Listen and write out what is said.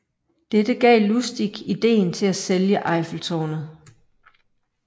Dette gav Lustig ideen til at sælge Eiffeltårnet